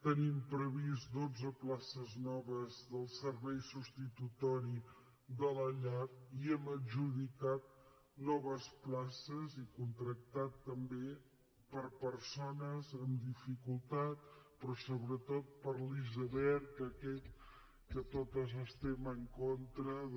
tenim previstes dotze places noves del servei substitutori de la llar i hem adjudicat noves places i contractat també per a persones amb dificultat però sobretot per l’iceberg aquest que totes estem en contra de